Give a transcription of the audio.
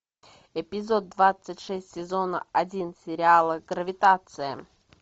эпизод двадцать шесть сезона один сериала гравитация